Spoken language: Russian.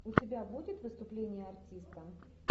у тебя будет выступление артиста